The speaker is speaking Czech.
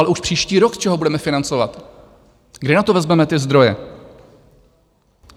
Ale už příští rok - z čeho budeme financovat, kde na to vezmeme ty zdroje?